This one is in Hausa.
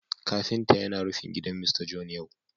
Kafinta yana rufin gidan Mr John yau